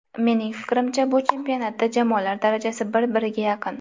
Mening fikrimcha, bu chempionatda jamoalar darajasi bir biriga yaqin.